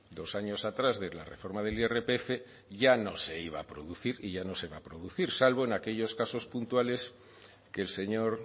dos años atrás de la reforma del irpf ya no se iba a producir y ya no se va a producir salvo en aquellos casos puntuales que el señor